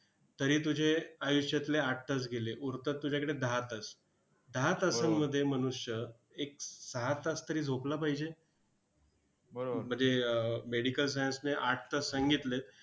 तरी तुझे आयुष्यातले आठ तास गेले. उरतात तुझ्याकडे दहा तास. दहा तासांमध्ये मनुष्य एक सहा तास तरी झोपला पाहिजे. म्हणजे अह medical science ने आठ तास सांगितलेत.